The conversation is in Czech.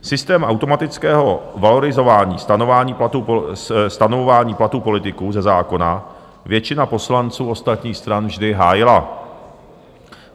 Systém automatického valorizování, stanovování platů politiků ze zákona většina poslanců ostatních stran vždy hájila.